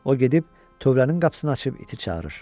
O gedib tövlənin qapısını açıb iti çağırır.